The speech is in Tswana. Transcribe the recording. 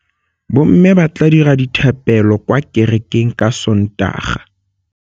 Bommê ba tla dira dithapêlô kwa kerekeng ka Sontaga.